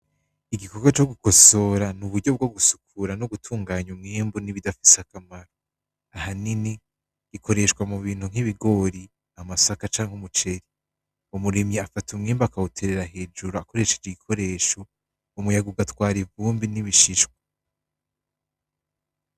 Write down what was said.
Igikorwa co kugosora n'uburyo bwo gusukura no gutunganya umwimbu n'ibidafise akamaro. Ahanini, bikoreshwa mubintu nk'ibigori, amasaka canke umuceri. Umurimyi afata umwimbu akawuterera hujuru akoresheje igikoresho, umuyaga ugatwara ivumbi n'ibishishwa.